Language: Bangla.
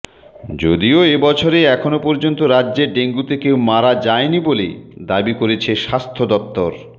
যদিও এবছরে এখনও পর্যন্ত রাজ্যে ডেঙ্গুতে কেউ মারা যাননি বলে দাবি করেছে স্বাস্থ্য দফতর